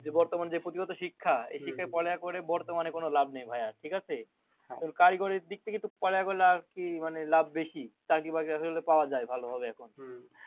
বর্তমানে যে পুঁথিগত শিক্ষা এই শিক্ষায় পড়ালেখা করে বর্তমানে কোনো লাভ নেই ভাইয়া, ঠিকাছে? তো কারিগরির দিক থেকে কিন্তু পড়ালেখা করলে আরকি মানে লাভ বেশি, চাকরি বাকরি আশা করি পাওয়া যায় ভালো ভাবে এখন।